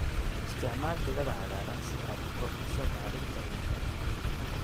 Isticmaal digada cagaaran si aad u kordhiso bacrinta ciidda.